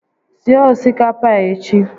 Sie osikapa a echi